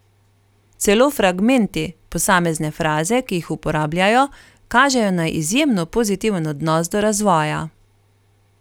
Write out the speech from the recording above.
Celo fragmenti, posamezne fraze, ki jih uporabljajo, kažejo na izjemno pozitiven odnos do razvoja.